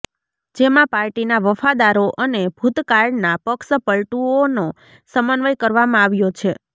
જેમાં પાર્ટીના વફાદારો અને ભુતકાળના પક્ષપલ્ટુઓનો સમન્વય કરવામાં આવ્યો છે